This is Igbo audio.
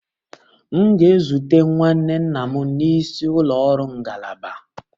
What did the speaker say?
M ga-ezute nwanne nna m n'isi ụlọ ọrụ ngalaba